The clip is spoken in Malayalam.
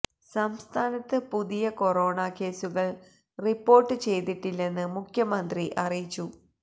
സംസ്ഥാനത്ത് പുതിയ കൊറോണ കേസുകള് റിപോര്ട്ട് ചെയ്തിട്ടില്ലെന്ന് മുഖ്യമന്ത്രി അറിയിച്ചു